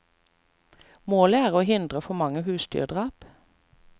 Målet er å hindre for mange husdyrdrap.